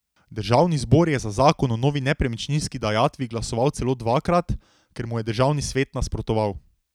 Državni zbor je za zakon o novi nepremičninski dajatvi glasoval celo dvakrat, ker mu je državni svet nasprotoval.